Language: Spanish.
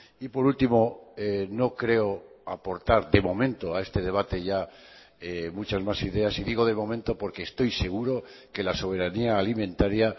y por último no creo aportar de momento a este debate ya muchas más ideas y digo de momento porque estoy seguro que la soberanía alimentaria